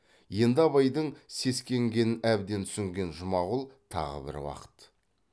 енді абайдың сескенгенін әбден түсінген жұмағұл тағы бір уақыт